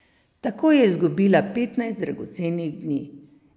Tako je izgubila petnajst dragocenih dni.